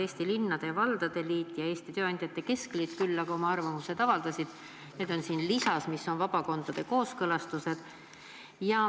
Eesti Linnade ja Valdade Liit ja Eesti Tööandjate Keskliit arvamust küll avaldasid, need on siin lisas, kus on vabakondade kooskõlastused.